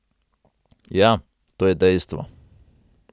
Ja, to je dejstvo.